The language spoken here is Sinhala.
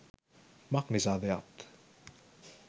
මක්නිසාද යත්,